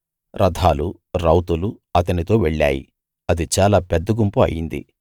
రథాలు రౌతులు అతనితో వెళ్ళాయి అది చాలా పెద్ద గుంపు అయింది